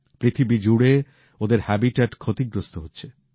পৃথিবীজুড়ে ওদের থাকার জায়গা ক্ষতিগ্রস্থ হয়েছে